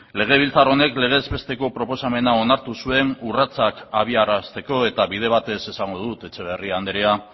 legebiltzar honek legez besteko proposamena onartu zuen urratsak abiarazteko eta bide batez esango dut etxeberria andrea